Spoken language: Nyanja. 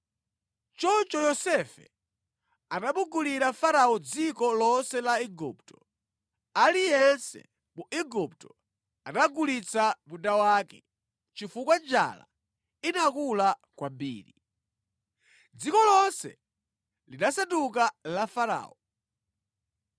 Choncho Yosefe anamugulira Farao dziko lonse la Igupto. Aliyense mu Igupto anagulitsa munda wake chifukwa njala inakula kwambiri. Dziko lonse linasanduka la Farao,